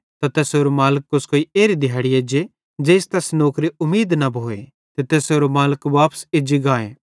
त तैसेरो मालिक कोस्कोई एरी दिहैड़ी एज्जे ज़ेइस तैस नौकरे उमीदे न भोए ते तैसेरो मालिक वापस एज्जी गाए